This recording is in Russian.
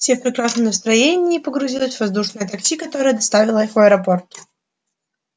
все в прекрасном настроении погрузились в воздушное такси которое доставило их в аэропорт